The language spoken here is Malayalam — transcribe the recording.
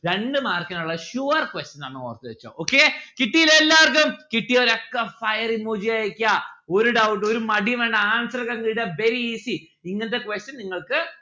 രണ്ടു mark ഇനുള്ള sure question ആണ് ഓർത്തു വെച്ചോ okay കിട്ടിയില്ലേ എല്ലാർക്കും? കിട്ടിയൊരൊക്കെ fire emoji അയക്കാ ഒരു doubt ഒരു മടിയും വേണ്ട answer ഒക്കെ ചെയ്താൽ very easy ഇങ്ങനത്തെ question നിങ്ങൾക്ക്